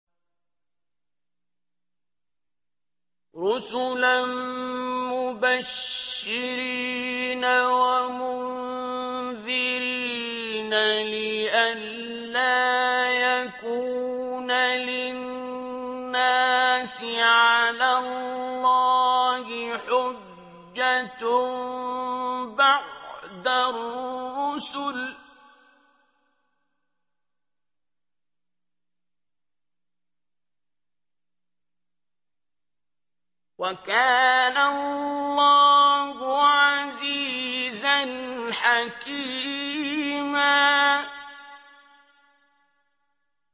رُّسُلًا مُّبَشِّرِينَ وَمُنذِرِينَ لِئَلَّا يَكُونَ لِلنَّاسِ عَلَى اللَّهِ حُجَّةٌ بَعْدَ الرُّسُلِ ۚ وَكَانَ اللَّهُ عَزِيزًا حَكِيمًا